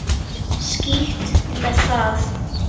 Skítt með það.